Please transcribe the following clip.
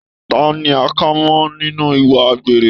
Ta ni a kà mọ nínú ìwà àgbèrè?